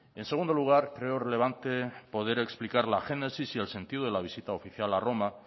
en segundo lugar creo relevante poder explicar la génesis y el sentido de la visita oficial a roma